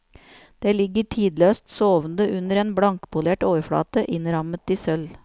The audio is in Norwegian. Det ligger tidløst sovende under en blankpolert overflate innrammet i sølv.